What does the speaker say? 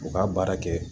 U ka baara kɛ